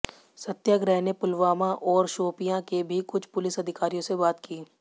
सत्याग्रह ने पुलवामा और शोपियां के भी कुछ पुलिस अधिकारियों से बात की